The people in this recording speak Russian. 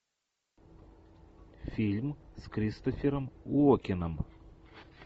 фильм с кристофером уокеном